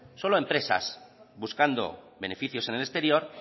solo empresas buscando beneficios en el exterior